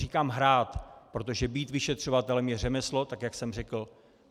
Říkám hrát, protože být vyšetřovatelem je řemeslo, tak jak jsem řekl.